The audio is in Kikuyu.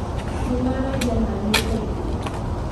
Nĩ maaragia na niĩ kaingĩ.